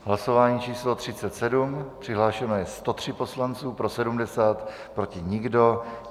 Hlasování číslo 37, přihlášeno je 103 poslanců, pro 70, proti nikdo.